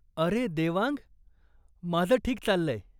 अरे देवांग! माझं ठीक चाललंय.